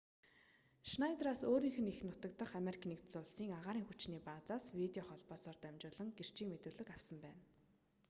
шнайдераас өөрийнх нь эх нутаг дахь ану-ын агаарын хүчний баазаас видео холбоосоор дамжуулан гэрчийн мэдүүлэг авсан байна